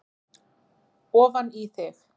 ofan í þig.